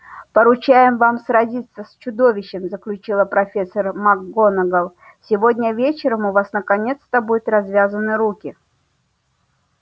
поручаем вам сразиться с чудовищем заключила профессор макгонагалл сегодня вечером у вас наконец-то будут развязаны руки